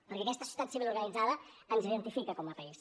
perquè aquesta societat civil organitzada ens identifica com a país